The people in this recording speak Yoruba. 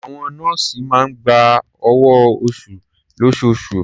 Àwọn nọ́ọ̀sì máa ń gba owó-oṣù lóṣooṣù.